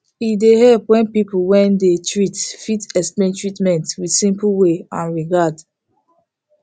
e dey helep when people when dey treat fit explain treatment with simple way and regard